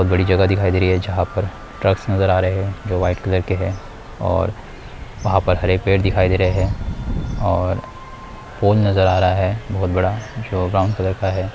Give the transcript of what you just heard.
बहुत बड़ी जगह दिखाई दे रही है जहाँ पर ट्रक्स नजर आ रहे है जो व्हाइट कलर के है और वहां पर हरे पेड़ दिखाई दे रहे है और पोल नजर आ रहा है बहुत बड़ा जो ब्राउन कलर का है।